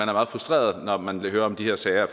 meget frustreret når man hører om de her sager